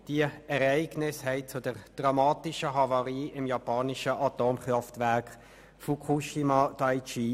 Dies führte zur dramatischen Havarie im japanischen Atomkraftwerk Fukushima Daiichi.